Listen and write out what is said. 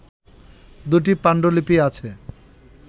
দুটি পাণ্ডুলিপি আছে